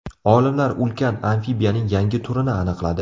Olimlar ulkan amfibiyaning yangi turini aniqladi.